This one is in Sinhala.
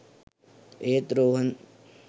ඒත් රෝහන්